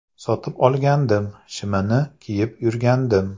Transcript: Sotib olgandim, shimini kiyib yurgandim.